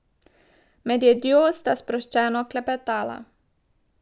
Med jedjo sta sproščeno klepetala.